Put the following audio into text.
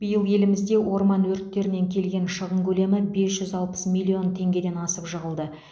биыл елімізде орман өрттерінен келген шығын көлемі бес жүз алпыс миллион теңгеден асып жығылды